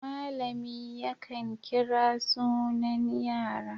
Malami yakan kira sunan yara.